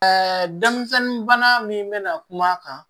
Ɛɛ denmisɛnnin bana min bena kuma a kan